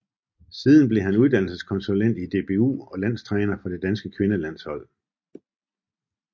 Siden blev han uddannelseskonsulent i DBU og landstræner for det danske kvindelandshold